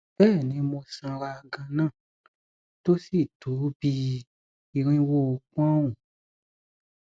bẹẹni mo sanra ganan tó sí tó bí i irinwó pọnùn